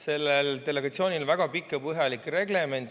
Sellel delegatsioonil on väga pikk ja põhjalik reglement.